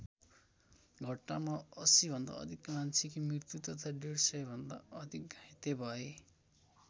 घटनामा ८० भन्दा अधिक मान्छे कि मृत्यु तथा डेढ सय भन्दा अधिक घाइते भए।